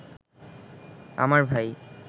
আমার ভাই